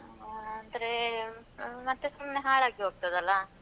ಹ್ಮ ಅಂದ್ರೆ ಆ ಮತ್ತೆ ಸುಮ್ನೆ ಹಾಳಾಗಿ ಹೋಗ್ತದಲ್ಲ?